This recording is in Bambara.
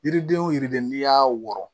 Yiriden wo yiriden n'i y'a wɔrɔ